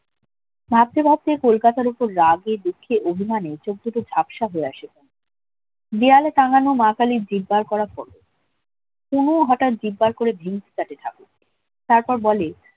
ভাবতে ভাবতে কলকাতার উপর রাগে দুঃখে অভিমানে চোখদুটো ঝাপসা হয়ে আসে পুনর দেওয়ালে টাঙানো মাকালীর জিভ বার করা পুনুও হঠাৎ জিভ বার করে তারপর বলে